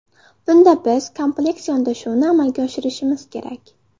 Bunda biz kompleks yondashuvni amalga oshirishimiz kerak.